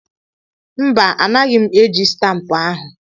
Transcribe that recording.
Mba, anaghị m eji stampụ ahu.